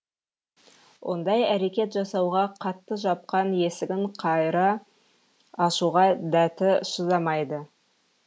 ондай әрекет жасауға қатты жапқан есігін қайыра ашуға дәті шыдамайды